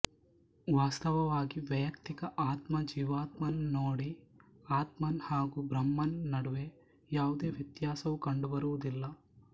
ವಾಸ್ತವವಾಗಿ ವೈಯುಕ್ತಿಕ ಆತ್ಮ ಜೀವಾತ್ಮನ್ ನೋಡಿ ಆತ್ಮನ್ ಹಾಗು ಬ್ರಹ್ಮನ್ ನಡುವೆ ಯಾವುದೇ ವ್ಯತ್ಯಾಸವು ಕಂಡುಬರುವುದಿಲ್ಲ